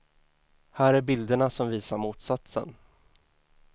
Här är bilderna som visar motsatsen.